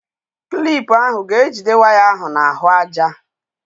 Klip ahụ ga-ejide waya ahụ n'ahụaja.